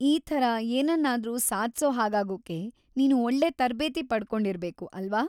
ಈ ಥರ ಏನನ್ನಾದ್ರೂ ಸಾಧ್ಸೋ‌ ಹಾಗಾಗೋಕೆ ನೀನು ಒಳ್ಳೆ ತರ್ಬೇತಿ‌ ಪಡ್ಕೊಂಡಿರ್ಬೇಕು, ಅಲ್ವಾ?